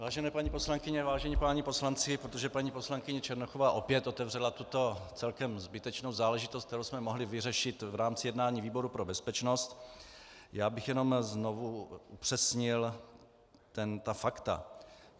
Vážené paní poslankyně, vážení páni poslanci, protože paní poslankyně Černochová opět otevřela tuto celkem zbytečnou záležitost, kterou jsme mohli vyřešit v rámci jednání výboru pro bezpečnost, já bych jenom znovu upřesnil ta fakta.